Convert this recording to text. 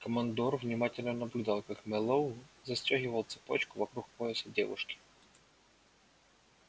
командор внимательно наблюдал как мэллоу застёгивал цепочку вокруг пояса девушки